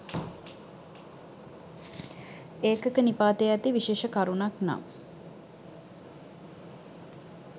ඒකක නිපාතයේ ඇති විශේෂ කරුණක් නම්